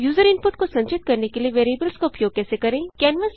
user input को संचित करने के लिए वेरिएबल्स का उपयोग कैसे करें